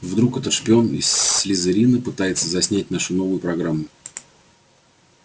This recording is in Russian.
вдруг это шпион из слизерина пытается заснять нашу новую программу